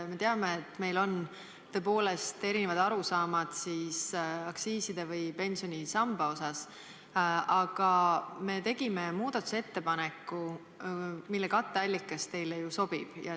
Me teame, et meil on tõepoolest erinevad arusaamad aktsiiside ja pensionisamba osas, aga me tegime muudatusettepaneku, mille katteallikas teile ju sobib.